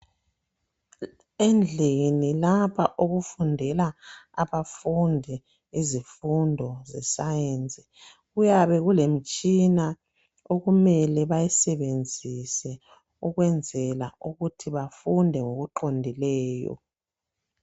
Endlini lapha okufundela abafundi izifundo ze Sicence, kuyabe kulemitshina okumele bayisebenzise ukwenzela ukuthi bafunde ngokuqondileyo